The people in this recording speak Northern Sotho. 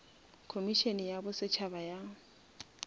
khomišene ya bo setšhaba ya